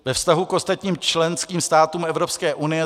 Ve vztahu k ostatním členským státům Evropské unie